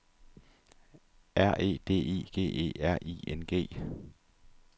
R E D I G E R I N G